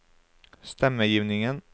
stemmegivningen